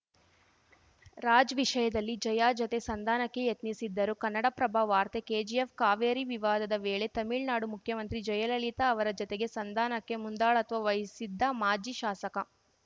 ರಾಜ್‌ ವಿಷಯದಲ್ಲಿ ಜಯಾ ಜೊತೆ ಸಂಧಾನಕ್ಕೆ ಯತ್ನಿಸಿದ್ದರು ಕನ್ನಡಪ್ರಭ ವಾರ್ತೆ ಕೆಜಿಎಫ್‌ ಕಾವೇರಿ ವಿವಾದದ ವೇಳೆ ತಮಿಳ್ನಾಡು ಮುಖ್ಯಮಂತ್ರಿ ಜಯಲಲಿತಾ ಅವರ ಜೊತೆಗೆ ಸಂಧಾನಕ್ಕೆ ಮುಂದಾಳತ್ವ ವಹಿಸಿದ್ದ ಮಾಜಿ ಶಾಸಕ